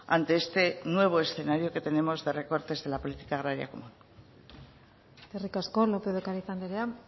ante este nuevo escenario que tenemos de recortes de la política agraria común eskerrik asko lópez de ocariz andrea